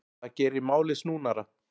Það geri málið snúnara.